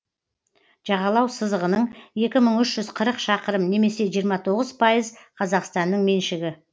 жағалау сызығының екі мың үш жүз қырық шақырым немесе жиырма тоғыз пайыз қазақстанның меншігі